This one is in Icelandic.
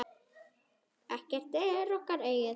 Ekkert er okkar eigið.